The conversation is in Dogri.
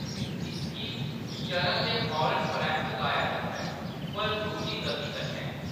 इसगी चरण दे फौरन परैंत्त गाया जंदा ऐ, पर दूनी गति कन्नै।